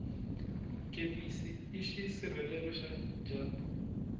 kepisi i xisirhela dyambu